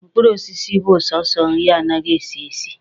Mkpụrụ osisi bụ sọsọ nri anaghị esi esi.